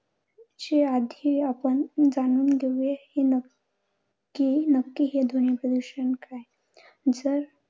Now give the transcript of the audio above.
च्या आधी आपण जाणून घेऊया. हे नक नक्की नक्की हे ध्वनी प्रदूषण काय? जर